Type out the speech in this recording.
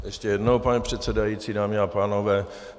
Ještě jednou, pane předsedající, dámy a pánové.